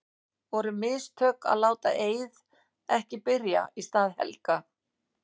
Voru mistök að láta Eið ekki byrja í stað Helga?